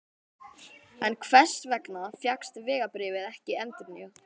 En hvers vegna fékkst vegabréfið ekki endurnýjað?